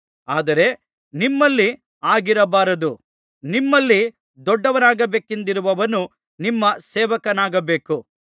ಆದರೆ ನಿಮ್ಮಲ್ಲಿ ಹಾಗಿರಬಾರದು ನಿಮ್ಮಲ್ಲಿ ದೊಡ್ಡವನಾಗಬೇಕೆಂದಿರುವವನು ನಿಮ್ಮ ಸೇವಕನಾಗಬೇಕು